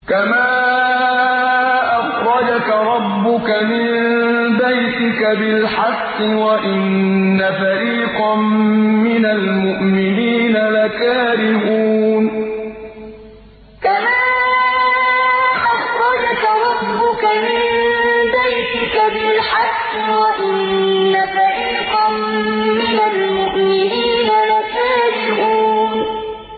كَمَا أَخْرَجَكَ رَبُّكَ مِن بَيْتِكَ بِالْحَقِّ وَإِنَّ فَرِيقًا مِّنَ الْمُؤْمِنِينَ لَكَارِهُونَ كَمَا أَخْرَجَكَ رَبُّكَ مِن بَيْتِكَ بِالْحَقِّ وَإِنَّ فَرِيقًا مِّنَ الْمُؤْمِنِينَ لَكَارِهُونَ